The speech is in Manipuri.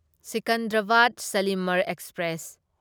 ꯁꯤꯀꯟꯗꯔꯥꯕꯥꯗ ꯁꯥꯂꯤꯃꯔ ꯑꯦꯛꯁꯄ꯭ꯔꯦꯁ